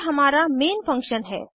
यह हमारा main function है